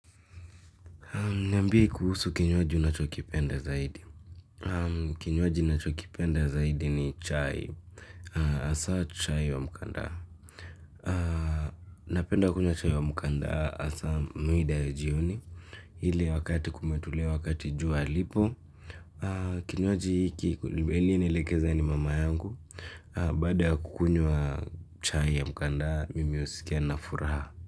Niambie kuhusu kinywaji unachokipenda zaidi. Kinyoaji unachokipenda zaidi ni chai. Asa chai wa mkandaa. Napenda kunywa chai wa mkanda hasa mwida ya jioni. Hile wakati kumetulia wakati jua lipo. Kinywaji hiki kulibeli nielekeza ni mama yangu. Baada ya kukunywa chai ya mkandaa, mimi usikia nina furaha.